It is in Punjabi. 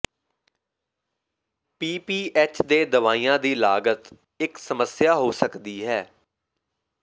ਪੀ ਪੀ ਐਚ ਦੇ ਦਵਾਈਆਂ ਦੀ ਲਾਗਤ ਇੱਕ ਸਮੱਸਿਆ ਹੋ ਸਕਦੀ ਹੈ